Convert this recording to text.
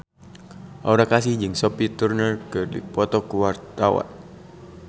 Aura Kasih jeung Sophie Turner keur dipoto ku wartawan